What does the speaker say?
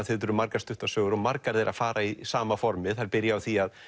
þetta eru margar stuttar sögur og margar þeirra fara í sama formið þær byrja á því